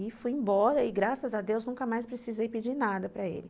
E fui embora e graças a Deus nunca mais precisei pedir nada para ele.